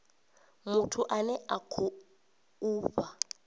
muthu ane a khou fha